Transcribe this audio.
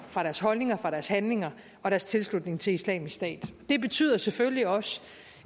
fra deres holdninger fra deres handlinger og deres tilslutning til islamisk stat det betyder selvfølgelig også